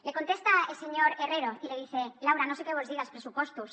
le contesta el señor herrero y le dice laura no sé què vols dir dels pressupostos